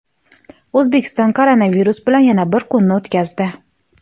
O‘zbekiston koronavirus bilan yana bir kunni o‘tkazdi.